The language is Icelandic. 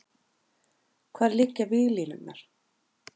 Hvar liggja víglínurnar?